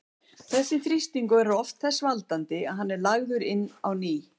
Þessi þrýstingur verður oft þess valdandi að hann er lagður inn á ný.